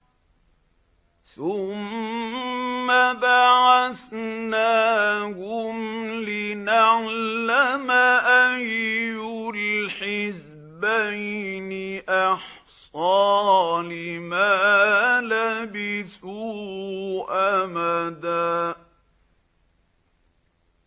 ثُمَّ بَعَثْنَاهُمْ لِنَعْلَمَ أَيُّ الْحِزْبَيْنِ أَحْصَىٰ لِمَا لَبِثُوا أَمَدًا